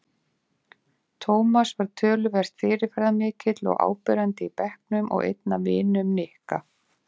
Tómas var töluvert fyrirferðarmikill og áberandi í bekknum og einn af vinum Nikka.